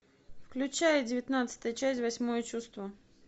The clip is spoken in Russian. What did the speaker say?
включай девятнадцатая часть восьмое чувство